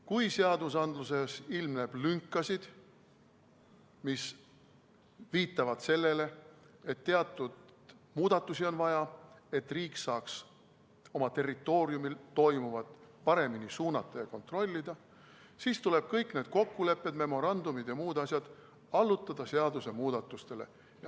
Kui seadustes ilmneb lünkasid, mis viitavad sellele, et teatud muudatusi on vaja, et riik saaks oma territooriumil toimuvat paremini suunata ja kontrollida, siis tuleb kõik need kokkulepped, memorandumid ja muud asjad allutada seadusemuudatustele.